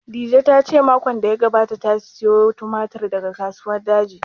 Dije ta ce makon da ya gabata ta sayo tumatir daga Kasuwar Daji